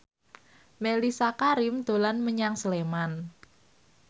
Mellisa Karim dolan menyang Sleman